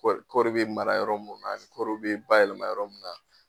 Kɔri kɔri be mara yɔrɔ mun na kɔriw be bayɛlɛma yɔrɔ mun na